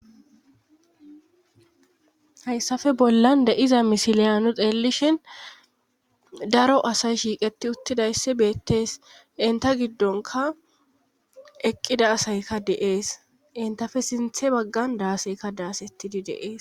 Hayssafe bollan de7iza misiliyanu xeelishin daro asay shiiqeti uttidayssi beettees inta giddonka eqqida asayka deees intafe sinthe baggan daaseyka daasettidi deees